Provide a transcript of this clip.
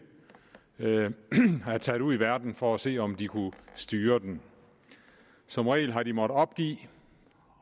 er taget ud i verden for at se om de kunne styre den som regel har de måttet opgive